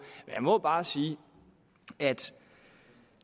jeg må bare sige at